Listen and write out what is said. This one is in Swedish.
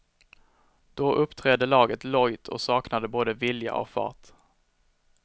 Då uppträdde laget lojt och saknade både vilja och fart.